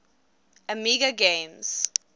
amiga games